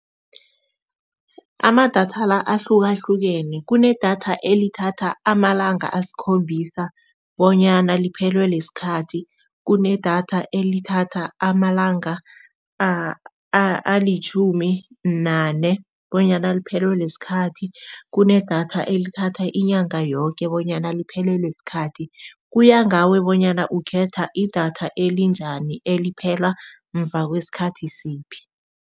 Amadatha la ahlukahlukene kunedatha elithatha amalanga asikhombisa bonyana liphelwele sikhathi. Kunedatha elithatha amalanga alitjhumi nane bonyana liphelelwe sikhathi, kunedatha elithatha inyanga yoke bonyana liphelelwe sikhathi. Kuya ngawe bonyana ukhetha idatha elinjani eliphela muva kwesikhathi siphi.